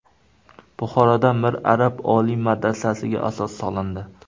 Buxoroda Mir Arab oliy madrasasiga asos solindi.